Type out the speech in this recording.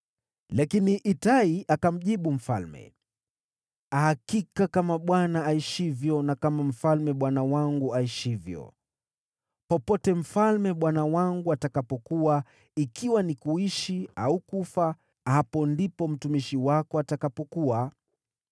Lakini Itai akamjibu mfalme, “Hakika kama Bwana aishivyo na kama mfalme bwana wangu aishivyo, popote mfalme bwana wangu atakapokuwa, ikiwa ni kuishi au kufa, hapo ndipo mtumishi wako atakapokuwa.”